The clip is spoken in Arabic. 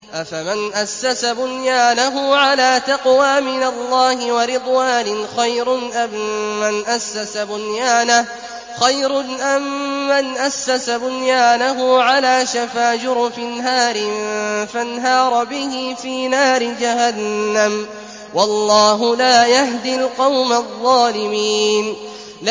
أَفَمَنْ أَسَّسَ بُنْيَانَهُ عَلَىٰ تَقْوَىٰ مِنَ اللَّهِ وَرِضْوَانٍ خَيْرٌ أَم مَّنْ أَسَّسَ بُنْيَانَهُ عَلَىٰ شَفَا جُرُفٍ هَارٍ فَانْهَارَ بِهِ فِي نَارِ جَهَنَّمَ ۗ وَاللَّهُ لَا يَهْدِي الْقَوْمَ الظَّالِمِينَ